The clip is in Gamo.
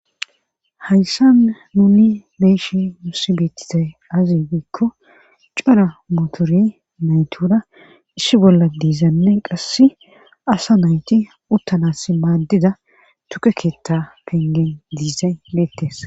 Hayssan nuni meeshi musi beettizay azi wiikko cara mutori naytura issi bolla diizanne qasse asa nayti uttanas maaddida tuke keetta pengen diizay beettes.